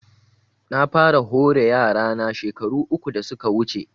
Na fara hore yara na shekaru uku da suka wuce